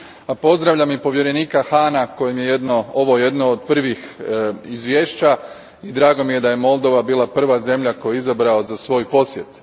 A pozdravljam i povjerenika Hahna kojemu je ovo jedno od prvih izvješća i drago mi je da je Moldova bila prva zemlja koju je izabrao za svoj posjet.